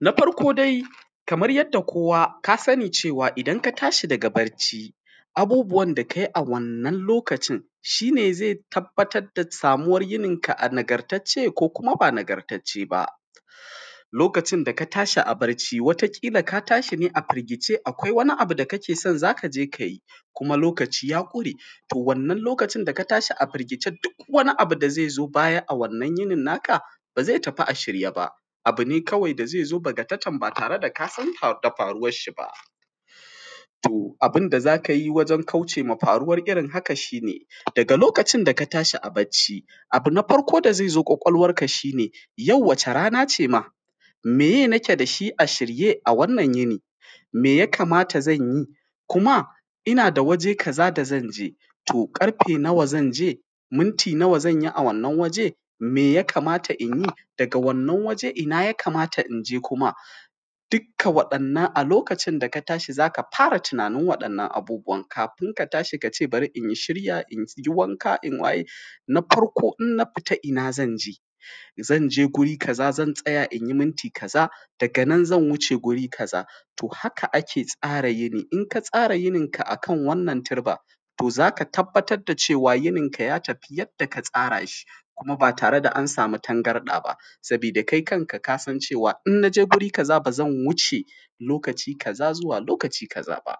na farko dai kamar yadda kowa kasani cewa idan ka tashi daga bacci abubuwan da kayi a wannan lokacin shi ne zai tabbatar da samuwar yinin ka a nagartace ko kuma ba nagartace ba, lokacin da ka tashi a barci kila ka tashi ne a firgice, akwai wani abin da kake son zaka je kayi kuma lokaci ya ƙure to wannan lokacin da ka tashi a firgicen duk wani abu da zai zo baya, a wannan yinin naka baze tafi a shirye ba abu ne kawai da zai zo bakatatan ba tare da kasan da faruwar shi ba, to abin da zaka yi wajen kauce ma faruwar wannan irin haka shi ne daga lokacin da ka tashi a bacci, abu na farko da zai zo ƙwaƙwalwarka shi ne yau wacce rana ce ma, meye naka da shi a shirye a wannan yinin me nake da shi da zanyi kuma ina da waje kaza da zanje to karfe nawa zanje minti nawa zanyi, a wannan waje me ya kamata inyi daga wannan waje ina ya kamata inje kuma duka waɗannan a lokacin daka tashi zaka fara tunanin waɗannan abubuwan kafin ka tashi bari in shirya inyi wanka in waye, na farko in na fita ina zanje zanje wajen kaza zan tsaya inyi minti kaza daga nan zan wuce wuri kaza haka ake tsara yini inka tsara yinin ka akan wannan turba to zaka tabbatar da cewa yinin ka yatafi yadda ka tsara shi kuma ba tare da kuma tangar ɗaba saboda kai kanka kasan cewa in kaje wuri kaza zan wuce lokaci kaza zuwa lokaci kaza ba.